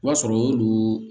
O b'a sɔrɔ y'olu